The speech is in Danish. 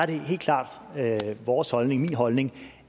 det helt klart er vores holdning min holdning